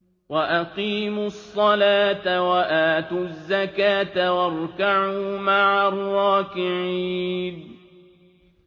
وَأَقِيمُوا الصَّلَاةَ وَآتُوا الزَّكَاةَ وَارْكَعُوا مَعَ الرَّاكِعِينَ